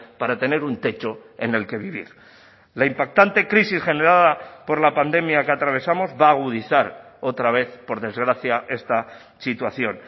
para tener un techo en el que vivir la impactante crisis generada por la pandemia que atravesamos va a agudizar otra vez por desgracia esta situación